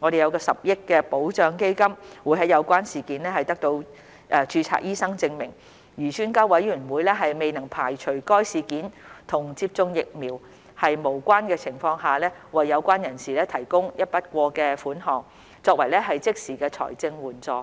，10 億元保障基金會在有關事件得到註冊醫生證明，而專家委員會未能排除該事件與接種疫苗無關的情況下，為有關人士提供一筆過的款項，作為即時的財政援助。